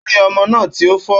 Ó rí ọmọ náà tí ó fò